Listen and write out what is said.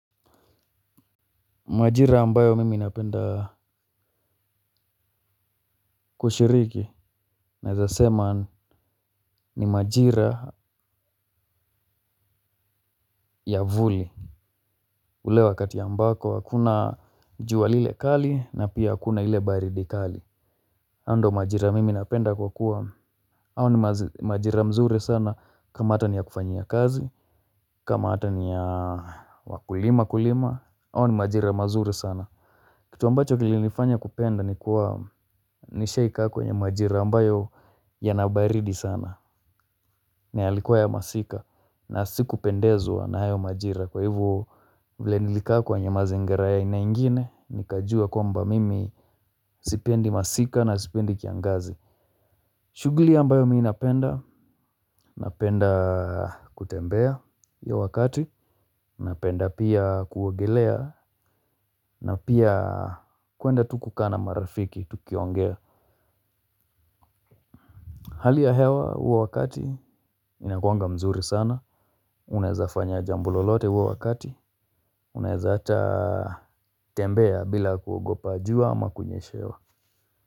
Majira ambayo mimi napenda kushiriki naweza sema ni majira ya vuli. Ule wakati ambako hakuna jua lile kali na pia hakuna ile baridi kali hayo ndo majira mimi napenda ku kuwa, hayo ni majira mzuri sana kama hata ni ya kufanyia kazi. Kama hata ni ya wakulima kulima, hawa ni majira mazuri sana. Kitu ambacho kilinifanya kupenda ni kuwa nishai kaa kwenye majira ambayo yana baridi sana. Na yalikua ya masika na siku pendezwa na hayo majira kwa hivo vile nilikaa kwenye mazingira ya aina ingine nikajua kwamba mimi sipendi masika na sipendi kiangazi. Shughuli ambayo mimi napenda, napenda kutembea hiyo wakati. Napenda pia kuogelea na pia kwenda tu kukaa na marafiki tukiongea. Hali ya hewa huwa wakati inakuanga mzuri sana. Unawezafanya jambo lolote huo wakati, unaweza hata tembea bila kuogopa jua ama kunyeshewa.